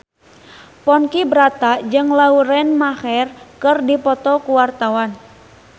Ponky Brata jeung Lauren Maher keur dipoto ku wartawan